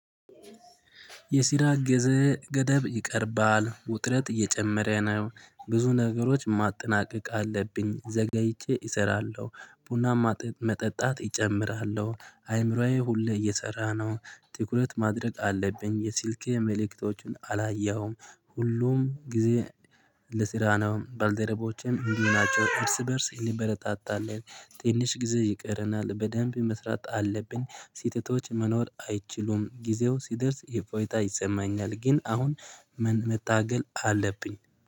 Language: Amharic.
የሲራ ገዘ ገደብ ይቀርባል ውጥረት እየጨመረ ነው። ብዙ ነገሮች ማጠናቀቅ አለብኝ ዘገይቼ እሰራለው። ቡና ማጠ መጠጣት እጨምራለው። አእምሮዬ ሁሌ እየሰራ ነው። ትኩረት ማድረግ አለብኝ የስልኬ መልእክቶቹን አላየሁም። ሁሉም ጊዜ ለስራ ነው ባልደረቦቼም እንዲህ ናቸው እርስ በእርስ እንበረታታለን። ትንሽ ጊዜ ይቀረናል በደንብ መስራት አለብ ሴትቶች መኖር አይችሉም ጊዜው ሲደርስ ይፎይታ ይሰማኛል። ግን አሁን ምን መታገል አለብኝ?